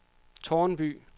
Tårnby